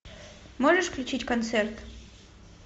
можешь включить концерт